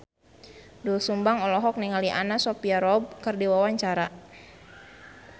Doel Sumbang olohok ningali Anna Sophia Robb keur diwawancara